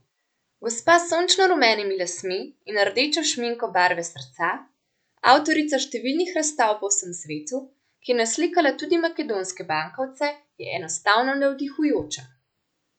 Gospa s sončno rumenimi lasmi in rdečo šminko barve srca, avtorica številnih razstav po vsem svetu, ki je naslikala tudi makedonske bankovce, je enostavno navdihujoča.